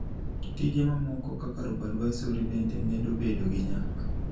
Tije mamoko, kaka robo-advisory, bende medo bedo gi nyak.